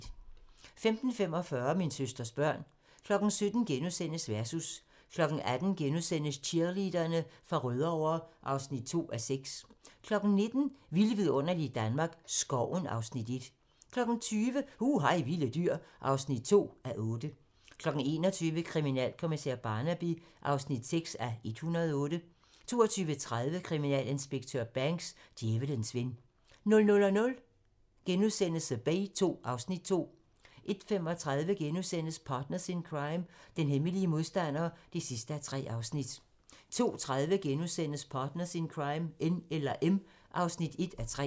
15:45: Min søsters børn 17:00: Versus * 18:00: Cheerleaderne fra Rødovre (2:6)* 19:00: Vilde vidunderlige Danmark - Skoven (Afs. 1) 20:00: Hu hej vilde dyr (2:8) 21:00: Kriminalkommissær Barnaby (6:108) 22:30: Kriminalinspektør Banks: Djævelens ven 00:00: The Bay II (Afs. 2)* 01:35: Partners in Crime: Den hemmelige modstander (3:3)* 02:30: Partners in Crime: N eller M (1:3)*